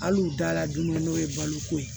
Hali u da la don min n'o ye balo ko ye